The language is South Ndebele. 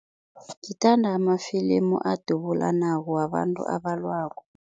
Ngithanda amafilimu adubulanako, wabantu abalwako.